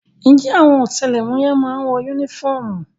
Ǹjẹ́ àwọn ọ̀tẹlẹ̀múyẹ́ má ń wọ yúnífọ́ọ̀mù?